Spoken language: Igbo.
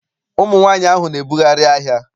Ụmụ nwaanyị ahụ na-ebugharị ahịa.